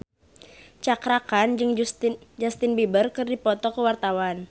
Cakra Khan jeung Justin Beiber keur dipoto ku wartawan